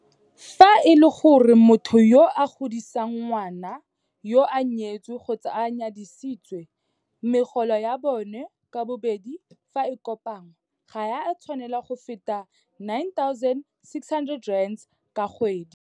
Fa e le gore motho yo a godisang ngwana yoo o nyetse kgotsa o nyadisitswe, megolo ya bona ka bobedi fa e kopanngwa ga e a tshwanela go feta R9 600 ka kgwedi.